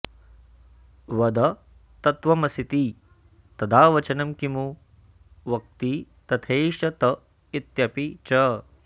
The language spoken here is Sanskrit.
वद तत्त्वमसीति तदा वचनं किमु वक्ति तथैष त इत्यपि च